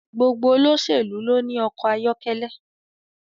Gbogbo olóṣèlú ló ní ọkọ̀ ayọ́kẹ́lẹ́